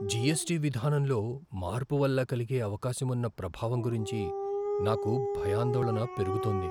GST విధానంలో మార్పు వల్ల కలిగే అవకాశమున్న ప్రభావం గురించి నాకు భయాందోళన పెరుగుతోంది.